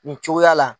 Nin cogoya la